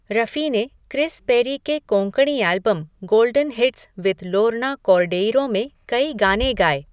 रफ़ी ने Chris Perry के Konkani album Golden Hits with Lorna Cordeiro में कई गाने गाए।